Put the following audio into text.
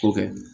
Ko kɛ